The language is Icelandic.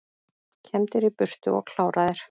Kembdir í burtu og kláraðir